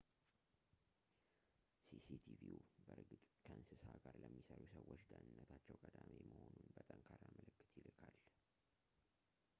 "ሲ.ሲ.ቲቪው በእርግጥ ከእንስሳ ጋር ለሚሠሩ ሰዎች ደህነነታቸው ቀዳሚ መሆኑን በጠንካራ ምልክት ይልካል።